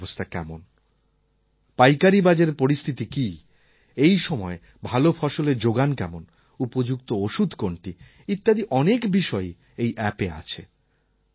বাজারের অবস্থা কেমন পাইকারি বাজারের পরিস্থিতি কি এই সময়ে ভাল ফসলের যোগান কেমন উপযুক্ত ওষুধ কোনটি ইত্যাদি অনেক বিষয়ই এই অ্যাপে আছে